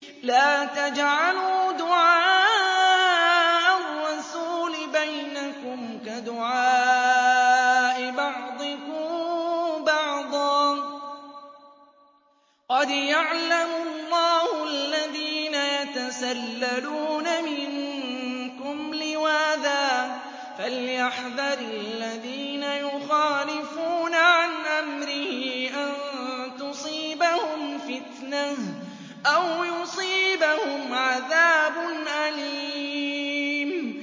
لَّا تَجْعَلُوا دُعَاءَ الرَّسُولِ بَيْنَكُمْ كَدُعَاءِ بَعْضِكُم بَعْضًا ۚ قَدْ يَعْلَمُ اللَّهُ الَّذِينَ يَتَسَلَّلُونَ مِنكُمْ لِوَاذًا ۚ فَلْيَحْذَرِ الَّذِينَ يُخَالِفُونَ عَنْ أَمْرِهِ أَن تُصِيبَهُمْ فِتْنَةٌ أَوْ يُصِيبَهُمْ عَذَابٌ أَلِيمٌ